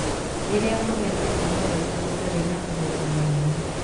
Rĩrĩa kũgĩa na tekinoronjĩ gũtarĩ na ũhoti mũnene.